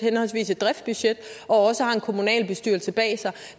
et driftsbudget og også har en kommunalbestyrelse bag sig